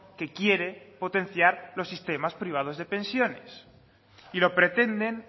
que quiere potenciar los sistemas privados de pensiones y lo pretenden